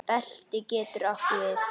Belti getur átt við